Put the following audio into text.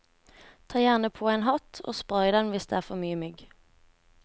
Ta gjerne på en hatt og spray den hvis det er mye mygg.